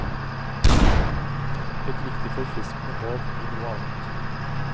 Et riktig forfriskende bad i noe annet.